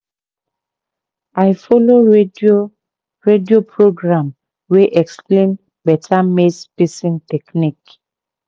i follow radio radio program wey explain better maize spacing technique